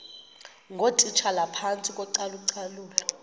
ngootitshala phantsi kocalucalulo